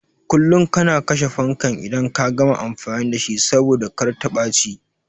Kullum kana kashe fankan idan ka gama amfani da shi saboda kar ta ɓaci